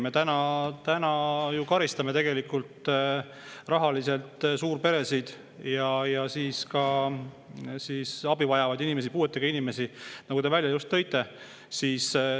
Me täna karistame rahaliselt suurperesid ja abi vajavaid inimesi, puuetega inimesi, nagu te välja tõite.